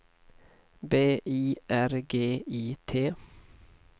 B I R G I T